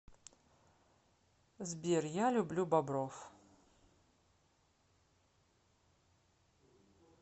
сбер я люблю бобров